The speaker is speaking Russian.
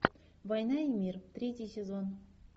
война и мир третий сезон